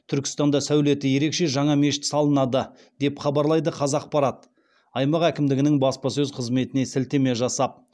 түркістанда сәулеті ерекше жаңа мешіт салынады деп хабарлайды қазақпарат аймақ әкімдігінің баспасөз қызметіне сілтеме жасап